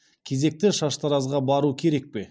кезекті шаштаразға бару керек пе